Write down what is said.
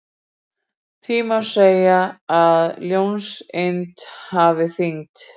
Því má segja að ljóseind hafi þyngd.